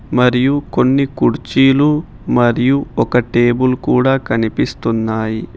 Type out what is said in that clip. మరియు కొన్ని కుర్చీలు మరియు ఒక టేబుల్ కూడా కనిపిస్తున్నాయి.